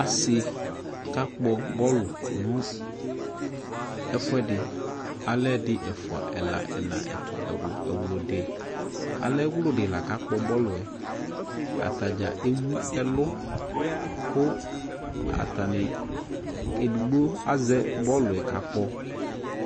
Ase ka kpɔ bɔlu no ɛfuɛdeAlɛ ɛdi, ɛfua, ɛla, ɛna, ɛto, ɛwlu, ɛwlidi Alɛ ɛwludi la ka kpɔ bɔluɛAta dza ewu ɛlu ko atane, kɛ edigbi azɛ bɔluɛ ka kpɔ